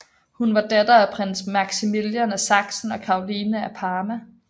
Hun var datter af prins Maximilian af Sachsen og Caroline af Parma